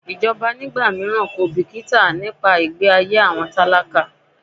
Ìjọba ní ìgbà míràn kò bìkítà nípa ìgbẹ́ ayé àwọn tálákà.